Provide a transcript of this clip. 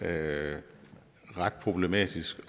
er ret problematisk